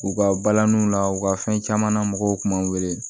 U ka balaniw la u ka fɛn caman na mɔgɔw k'an wele